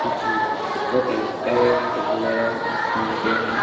कुछ कुत्तों के पेट वगैरा मिलते हैं।